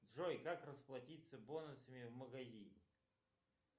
джой как расплатиться бонусами в магазине